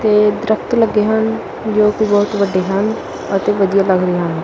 ਤੇ ਦ੍ਰਖਤ ਲੱਗੇ ਹਨ ਜੋਕਿ ਬੋਹੁਤ ਵੱਡੇ ਹਨ ਅਤੇ ਵਧੀਆ ਲੱਗ ਰਹੇ ਹਨ।